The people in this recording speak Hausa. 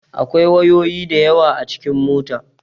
Akwai wayoyi da yawa a cikin mota.